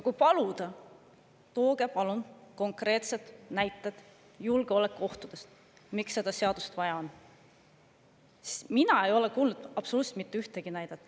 Olen palunud, et tooge konkreetsed näited julgeolekuohtude kohta, miks seda seadust vaja on, aga ma ei ole kuulnud absoluutselt mitte ühtegi näidet.